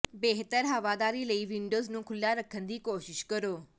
ਬਿਹਤਰ ਹਵਾਦਾਰੀ ਲਈ ਵਿੰਡੋਜ਼ ਨੂੰ ਖੁੱਲ੍ਹਾ ਰੱਖਣ ਦੀ ਕੋਸ਼ਿਸ਼ ਕਰੋ